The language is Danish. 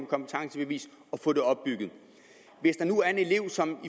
kompetencebevis og få det opbygget hvis der nu er en elev som